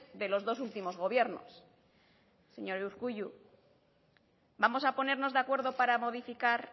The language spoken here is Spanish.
de los dos últimos gobiernos señor urkullu vamos a ponernos de acuerdo para modificar